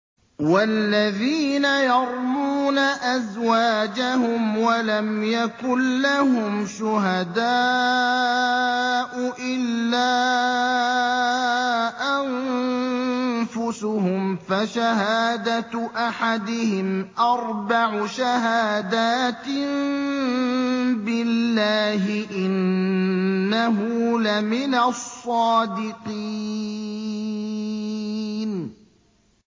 وَالَّذِينَ يَرْمُونَ أَزْوَاجَهُمْ وَلَمْ يَكُن لَّهُمْ شُهَدَاءُ إِلَّا أَنفُسُهُمْ فَشَهَادَةُ أَحَدِهِمْ أَرْبَعُ شَهَادَاتٍ بِاللَّهِ ۙ إِنَّهُ لَمِنَ الصَّادِقِينَ